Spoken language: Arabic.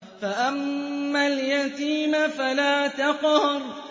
فَأَمَّا الْيَتِيمَ فَلَا تَقْهَرْ